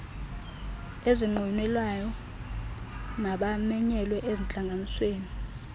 ezinqwenelwayo mabamenyelwe ezintlanganisweni